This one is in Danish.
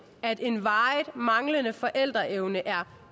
at en varig manglende forældreevne er